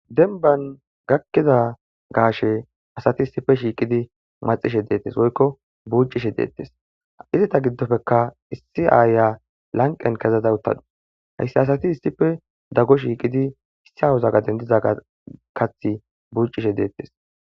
Demban gakkida gaashe asati issppe maxishe woykko buuccishe deettees, izeta giddopekka issi aayeya lanqen kezada uttadus hayssa asati issippe dago shiiqidi issa gaden dizaysa buuccishe deettees.